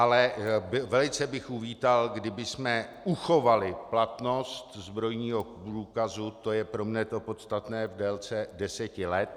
Ale velice bych uvítal, kdybychom uchovali platnost zbrojního průkazu, to je pro mne to podstatné, v délce deseti let.